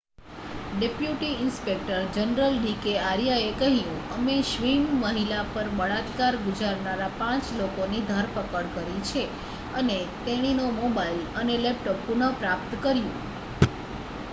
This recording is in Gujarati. "Deputy inspector general D K આર્યાએ કહ્યું "અમે સ્વિસ મહિલા પર બળાત્કાર ગુજારનારા 5 લોકોની ધરપકડ કરી છે અને તેણીનો મોબાઈલ અને લેપટોપ પુન: પ્રાપ્ત કર્યું .""